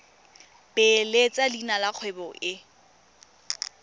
beeletsa leina la kgwebo e